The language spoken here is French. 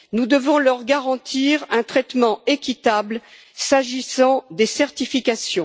Nous devons leur garantir un traitement équitable en matière de certifications.